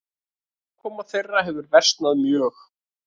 Afkoma þeirra hefur versnað mjög.